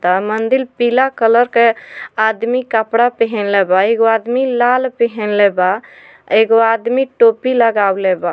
ऐ मंदील पीला कलर के आदमी कपड़ा पेहेनले बा एगो आदमी लाल पहिनले बा एगो आदमी टोपी लगावले बा।